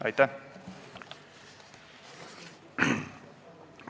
Aitäh!